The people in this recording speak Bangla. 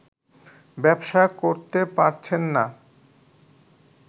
ব্যবসা করতে পারছেন না